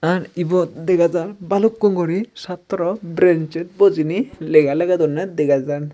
ar ibot dega jar balukkun guri chatraw brensit bujiney lega ligodonney dega jar.